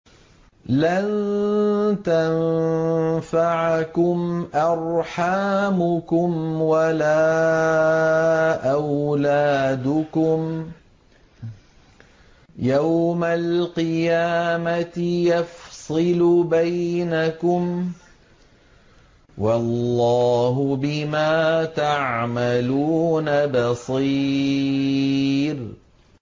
لَن تَنفَعَكُمْ أَرْحَامُكُمْ وَلَا أَوْلَادُكُمْ ۚ يَوْمَ الْقِيَامَةِ يَفْصِلُ بَيْنَكُمْ ۚ وَاللَّهُ بِمَا تَعْمَلُونَ بَصِيرٌ